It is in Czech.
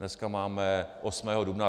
Dneska máme 8. dubna.